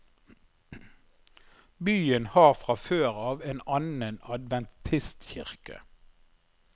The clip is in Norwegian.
Byen har fra før av en annen adventistkirke.